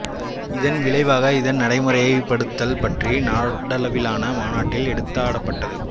இதன் விளைவாக இதன் நடைமுறைப் படுத்தல் பற்றி நாடளவிலான மாநாட்டில் எடுத்தாடப்பட்டது